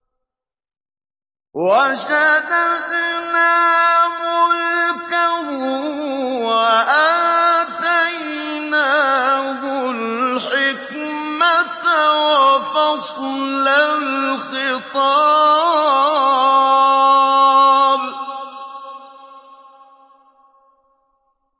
وَشَدَدْنَا مُلْكَهُ وَآتَيْنَاهُ الْحِكْمَةَ وَفَصْلَ الْخِطَابِ